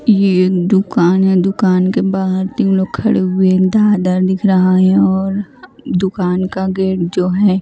ये दुकान है दुकान के बाहर तीन लोग खड़े हुए दाधार दिख रहा है और दुकान का गेट जो है--